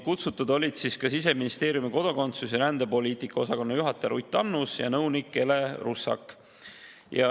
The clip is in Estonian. Kutsutud olid ka Siseministeeriumi kodakondsus- ja rändepoliitika osakonna juhataja Ruth Annus ja nõunik Ele Russak.